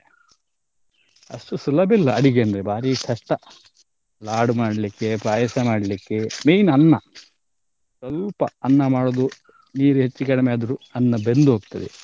ಅಷ್ಟು ಸುಲಭಿಲ್ಲ ಅಡಿಗೆ ಅಂದ್ರೆ ಬಾರಿ ಕಷ್ಟ . ಲಾಡು ಮಾಡ್ಲಿಕ್ಕೆ, ಪಾಯಸ ಮಾಡ್ಲಿಕ್ಕೆ, main ಅನ್ನ ಸ್ವಲ್ಪ ಅನ್ನ ಮಾಡುದು ನೀರ್ ಹೆಚ್ಚ್ ಕಡಿಮೆ ಆದ್ರೂ ಅನ್ನ ಬೆಂದು ಹೊಗ್ತದೆ.